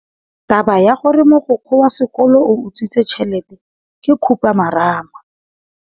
Taba ya gore mogokgo wa sekolo o utswitse tšhelete ke khupamarama.